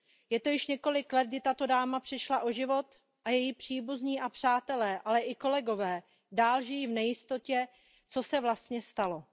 Je to již několik let, kdy tato dáma přišla o život, a její příbuzní a přátelé, ale i kolegové dál žijí v nejistotě, co se vlastně stalo.